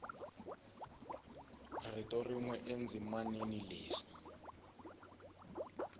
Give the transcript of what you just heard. rito rin we endzimaneni leri